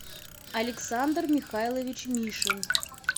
александр михайлович мишин